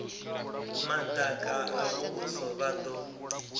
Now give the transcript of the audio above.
madaka a muvhuso vha do